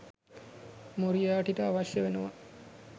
Moriarty ට අවශ්‍ය වෙනවා